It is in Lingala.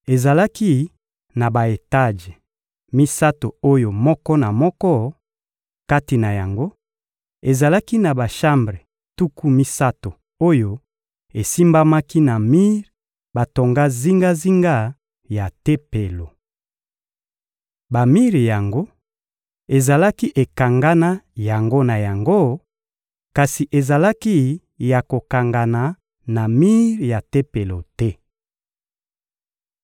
Ezalaki na ba-etaje misato oyo moko na moko, kati na yango, ezalaki na bashambre tuku misato oyo esimbamaki na mir batonga zingazinga ya Tempelo. Bamir yango ezalaki ekangana yango na yango, kasi ezalaki ya kokangana na mir ya Tempelo te.